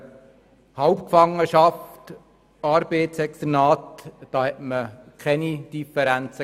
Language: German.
Bei Halbgefangenschaft und Arbeitsexternat gab es keine Differenzen.